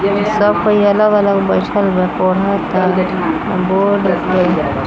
सब पहियाला वाला बैठल बा पढौ खातिरबौड--